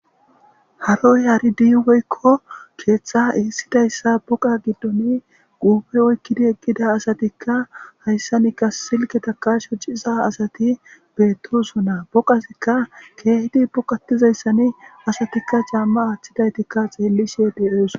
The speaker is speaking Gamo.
haroy haridi woykko keeththa essidayssa buqa giddoni guupe oykkidi eqqida asatikka hayssanika silkketaka shociza asati beettosona boqazikka keehidi boqatizayssani asatikka caamma aaththidaytikka xeellishe de7os.